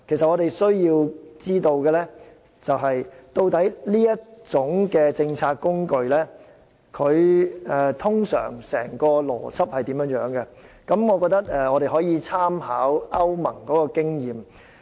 我們需要知道，這項政策工具的整體運作邏輯，我們可以參考歐盟的經驗。